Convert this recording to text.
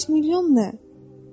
500 milyon nə?